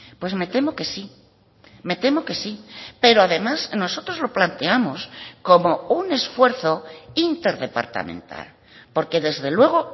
pues me temo que sí me temo que sí pero además nosotros lo planteamos como un esfuerzo interdepartamental porque desde luego